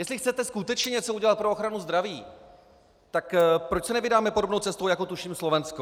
Jestli chcete skutečně něco udělat pro ochranu zdraví, tak proč se nevydáme podobnou cestou jako tuším Slovensko.